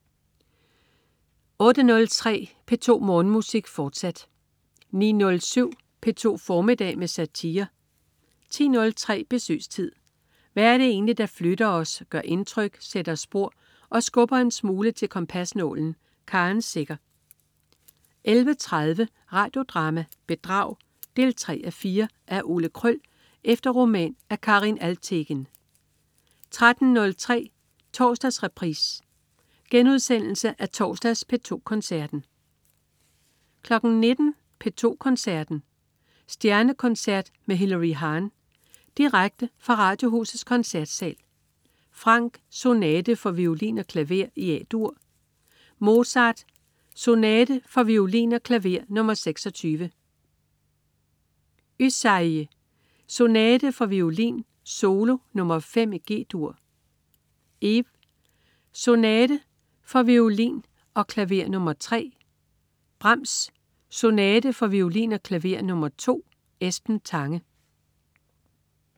08.03 P2 Morgenmusik, fortsat 09.07 P2 formiddag med satire 10.03 Besøgstid. Hvad er det egentlig, der flytter os, gør indtryk, sætter spor og skubber en smule til kompasnålen? Karen Secher 11.30 Radio Drama: Bedrag 3:4. Af Ole Kröll efter roman af Karin Alvtegen 13.03 Torsdagsreprise. Genudsendelse af torsdags P2 Koncerten 19.00 P2 Koncerten. Stjernekoncert med Hilary Hahn. Direkte fra Radiohusets Koncertsal. Franck: Sonate for violin og klaver i A-dur. Mozart: Sonate for violin og klaver nr. 26. Ysaÿe: Sonate for violin solo nr. 5 i G-dur. Ives: Sonate for violin og klaver nr. 3. Brahms: Sonate for violin og klaver nr. 2. Esben Tange